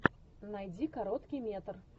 найди короткий метр